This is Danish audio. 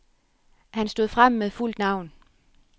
Han stod frem med fuldt navn.